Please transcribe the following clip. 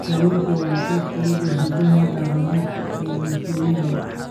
Kalluunku waa qayb ka mid ah hiddaha dhaqameed ee bulshooyin badan.